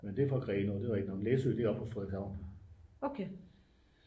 men det er fra grenaa det er rigtigt læsø det er oppe fra frederikshavn